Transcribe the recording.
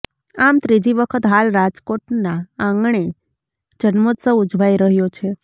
આમ ત્રીજી વખત હાલ રાજકોટના આંગણે જન્મોત્સવ ઊજવાઈ રહ્યો છે